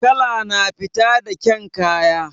Kala na fito da ƙyan kaya